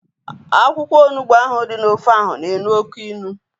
Akwụkwọ onugbu ahu dị n'ofe ahu na-elu oké ilu